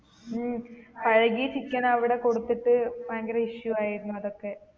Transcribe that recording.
ഉം അഴുകിയ chicken അവിടെ കൊടുത്തിട്ട് ഭയങ്കര issue ആയിരുന്നു അതൊക്കെ